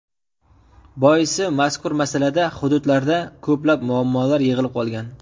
Boisi, mazkur masalada hududlarda ko‘plab muammolar yig‘ilib qolgan.